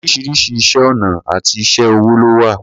Oríṣiríṣi iṣẹ́ ọnà àti iṣé ọwọ́ ló wà.